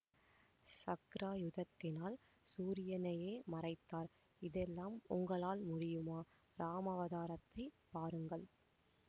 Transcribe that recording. சக்ராயுதத்தினால் சூரியனையே மறைத்தார் இதெல்லாம் உங்களால் முடியுமா இராமாவதாரத்தைப் பாருங்கள்